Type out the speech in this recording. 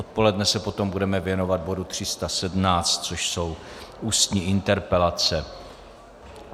Odpoledne se potom budeme věnovat bodu 317, což jsou ústní interpelace.